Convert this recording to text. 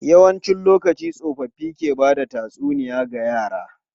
Yawancin lokaci, tsofaffi ke ba da tatsuniya ga yara.